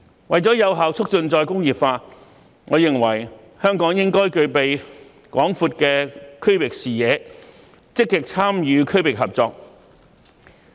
為了有效促進再工業化，我認為香港應具備廣闊的區域視野，積極參與區域合作。